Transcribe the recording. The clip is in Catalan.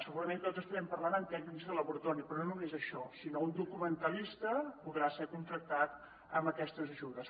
segurament tots devem estar pensant en tècnics de laboratori però no només això sinó que un documentalista podrà ser contractat amb aquestes ajudes